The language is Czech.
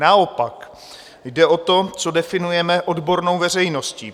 Naopak, jde o to, co definujeme odbornou veřejností.